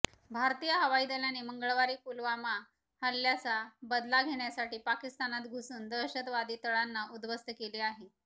भारतीय हवाई दलाने मंगळवारी पुलवामा हल्ल्याचा बदला घेण्यासाठी पाकिस्तानात घुसून दहशतवादी तळांना उद्धवस्त केले आहे